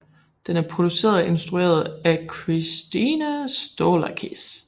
Den er produceret og instrueret af Kristine Stolakis